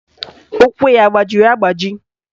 Ụkwụ ya agbajiri agbaji?